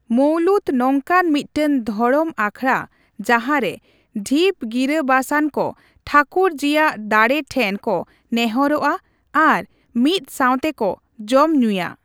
ᱢᱳᱣᱞᱩᱫᱽ ᱱᱚᱝᱠᱟᱱ ᱢᱤᱫᱴᱟᱝ ᱫᱷᱚᱨᱚᱢ ᱟᱠᱷᱲᱟ ᱡᱟᱦᱟᱸᱨᱮ ᱰᱷᱤᱯ ᱜᱤᱨᱟᱹᱵᱟᱥᱟᱱ ᱠᱚ ᱴᱷᱟᱠᱩᱨᱡᱤᱭᱟᱜ ᱫᱟᱲᱮ ᱴᱷᱮᱱ ᱠᱚ ᱱᱮᱦᱚᱨᱜᱼᱟ ᱟᱨ ᱢᱤᱫ ᱥᱟᱣᱛᱮ ᱠᱚ ᱡᱚᱢᱼᱧᱩᱭᱟ ᱾